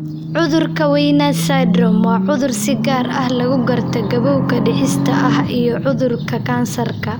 Cudurka Werner's syndrome waa cudur si gaar ah lagu garto gabowga dhicis ah iyo cudurka kansarka.